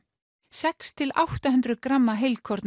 sex til átta hundruð gramma